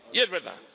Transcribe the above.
Y es verdad.